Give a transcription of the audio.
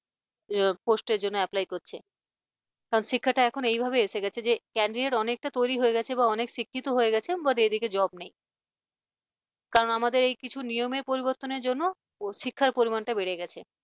post জন্য apply করছে কারন শিক্ষাটা এখন এইভাবে এসে গেছে যে candidate অনেকটা তৈরি হয়ে গেছে এবং অনেক শিক্ষিত হয়ে গেছে কিন্তু এদিকে job নেই কারণ আমাদের এই কিছু নিয়মের পরিবর্তনের জন্য শিক্ষার পরিমাণটা বেড়ে গেছে।